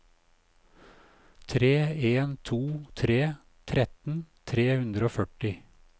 tre en to tre tretten tre hundre og førti